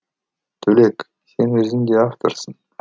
төлек сен өзің де авторсың